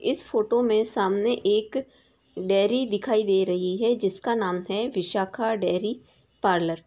इस फोटो में सामने एक डेरी दिखाई दे रही है जिसका नाम है विशाखा डेरी पार्लर |